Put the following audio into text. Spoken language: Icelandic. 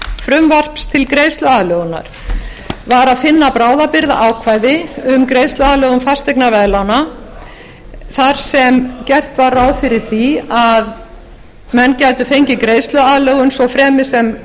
frumvarps til greiðsluaðlögunar var að finna bráðabirgðaákvæði um greiðsluaðlögun fasteignaveðlána þar sem gert var ráð fyrir því að menn gætu fengið greiðsluaðlögun svo fremi sem